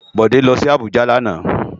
Bode lò si Abuja làná